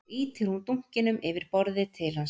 Þá ýtir hún dunkinum yfir borðið til hans